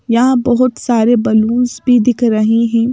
यहां बहुत सारे बैलूंस भी दिख रही हैं।